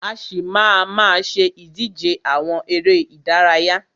A ṣì má a má ṣe ìdíje àwọn eré ìdárayá.